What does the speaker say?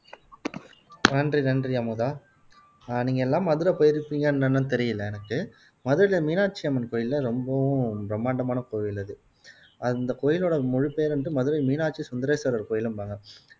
நன்றி நன்றி அமுதா அஹ் நீங்க எல்லாம் மதுரை போயிருப்பீங்களா என்னன்னு தெரியல எனக்கு மதுரையில மீனாட்சி அம்மன் கோயில்ல ரொம்பவும் பிரம்மாண்டமான கோயில் அது அந்த கோயிலோட முழு பேர் வந்து மதுரை மீனாட்சி சுந்தரேஸ்வரர் கோயிலும்பாங்க